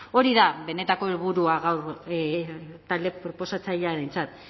hori da benetako helburua gaur talde proposatzailearentzat